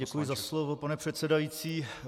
Děkuji za slovo, pane předsedající.